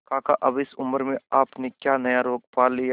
काका अब इस उम्र में आपने क्या नया रोग पाल लिया है